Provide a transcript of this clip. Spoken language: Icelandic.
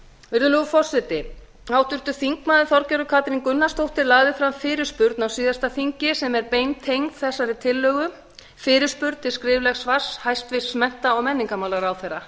virðulegur forseti háttvirtur þingmaður þorgerður katrín gunnarsdóttir lagði fram fyrirspurn á síðasta þingi sem er beintengd þessari tillögu fyrirspurn til skriflegs svars hæstvirtum mennta og menningarmálaráðherra